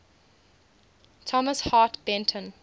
thomas hart benton